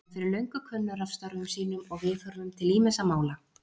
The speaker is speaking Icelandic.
Hann er fyrir löngu kunnur af störfum sínum og viðhorfum til ýmissa mála.